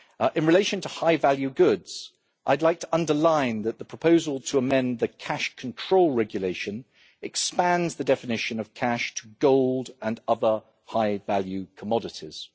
In relation to high value goods, I would like to underline that the proposal to amend the Cash Control Regulation expands the definition of cash to gold and other high value commodities.